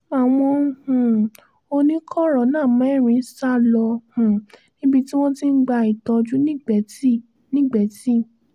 àwọn um oníkọ̀rọ̀nà mẹ́rin sá lọ um níbi tí wọ́n ti ń gba ìtọ́jú nìgbẹ́tì nìgbẹ́tì